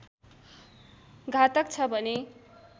घातक छ भने